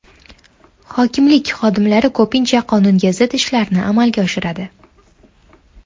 Hokimlik xodimlari ko‘pincha qonunga zid ishlarni amalga oshiradi.